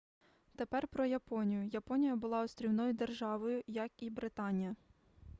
тепер про японію японія була острівною державою як і британія